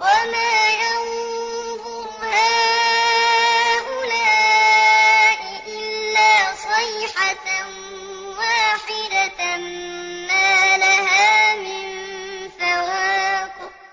وَمَا يَنظُرُ هَٰؤُلَاءِ إِلَّا صَيْحَةً وَاحِدَةً مَّا لَهَا مِن فَوَاقٍ